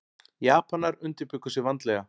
Japanar undirbjuggu sig vandlega.